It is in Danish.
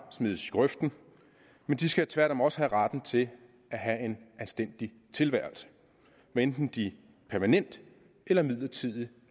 smides i grøften de skal tværtom også have retten til at have en anstændig tilværelse hvad enten de permanent eller midlertidigt